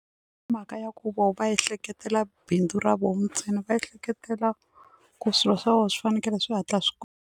Mhaka ya ku voho va ehleketela bindzu ra vona ntsena va ehleketela ku swilo swa vona swi fanekele swi hatla swi .